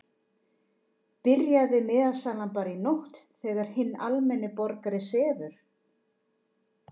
Byrjaði miðasalan bara í nótt þegar hinn almenni borgari sefur?